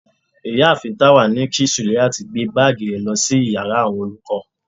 ìyáàfín tawa ní kí suliat gbe baagí re lo sí íyarà awọn olukọ